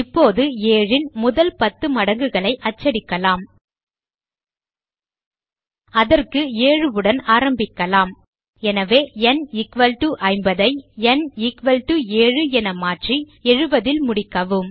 இப்போது 7 ன் முதல் 10 மடங்குகளை அச்சிடலாம் அதற்கு 7 உடன் ஆரம்பிக்கலாம் எனவே ந் 50 ஐ ந் 7 என மாற்றி 70 ல் முடிக்கவும்